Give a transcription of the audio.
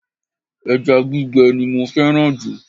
Eja gbígbe ni mo féràn jù